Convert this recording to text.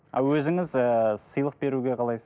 а өзіңіз ііі сыйлық беруге қалайсыз